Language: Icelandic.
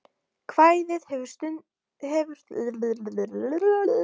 Kvæðið hefur því stundum verið túlkað sem lýsing á því hvernig stéttir urðu til.